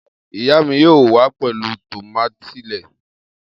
Iya mi yoo wa pẹlu tomati lẹẹ.